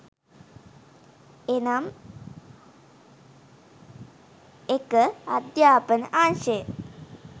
එනම් 01.අධ්‍යාපන අංශය